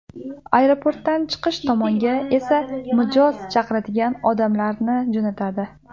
Aeroportdan chiqish tomonga esa mijoz chaqiradigan odamlarni jo‘natadi.